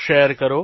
share કરો